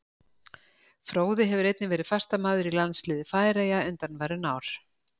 Fróði hefur einnig verið fastamaður í landsliði Færeyja undanfarin ár.